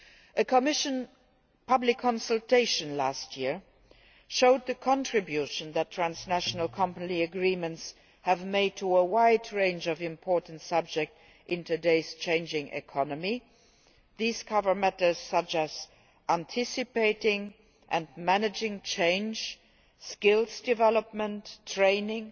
A Commission public consultation last year showed the contribution that transnational company agreements have made to a wide range of important subjects in today's changing economy, including matters such as anticipating and managing change, skills development, training,